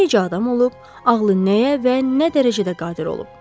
Necə adam olub, ağlı nəyə və nə dərəcədə qadir olub?